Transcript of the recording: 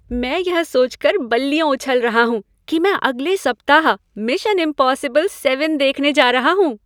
मैं यह सोच कर बल्लियों उछल रहा हूँ कि मैं अगले सप्ताह मिशन इम्पॉसिबल सेवन देखने जा रहा हूँ।